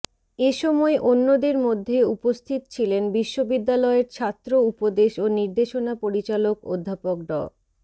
এসময় অন্যদের মধ্যে উপস্থিত ছিলেন বিশ্ববিদ্যালয়ের ছাত্র উপদেশ ও নির্দেশনা পরিচালক অধ্যাপক ড